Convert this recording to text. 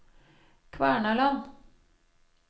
Kvernaland